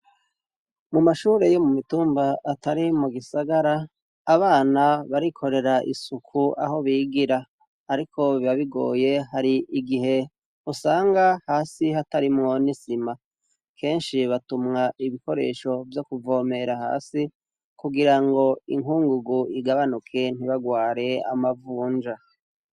mu mashure yo mumitumba atari mu gisagara abana barikorera isuku aho bigira ariko bibabigoye hari igihe usanga hasi hatarimwo n'isima kenshi batumwa ibikoresho vyo kuvomera hasi kugirango inkungugu igabanuke ntibagware amavunja